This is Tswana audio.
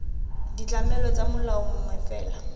ditlamelo tsa molao mongwe fela